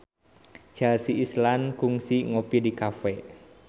Chelsea Islan kungsi ngopi di cafe